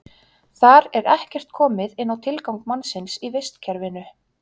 Þar er ekkert komið inn á tilgang mannsins í vistkerfinu.